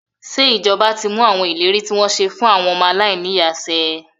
Ṣé ìjọba ti mú àwọn ìlérí tí wọ́n ṣe fún ilé àwọn ọmọ aláìní ìyá ṣẹ?